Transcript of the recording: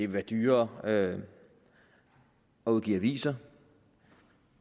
være dyrere at udgive aviser